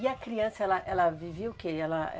E a criança, ela ela vivia o quê? Ela,